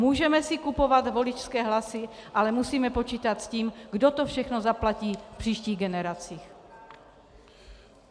Můžeme si kupovat voličské hlasy, ale musíme počítat s tím, kdo to všechno zaplatí v příštích generacích.